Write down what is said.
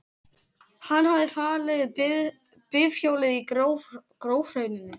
Hann hafði falið bifhjólið í grófhrauninu.